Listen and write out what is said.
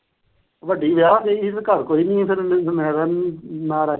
ਵੱਡੀ ਵਿਆਹ ਗਈ ਸੀ ਤੇ ਘਰ ਕੋਈ ਨੀ ਆ ਤੇ ਮੈਂ ਰਹਿ ਦਿੰਦਾ।